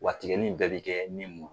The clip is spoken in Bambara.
Wa tigɛli in bɛɛ bɛ kɛ nin mun